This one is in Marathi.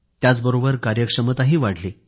त्याचबरोबर कार्यक्षमताही वाढली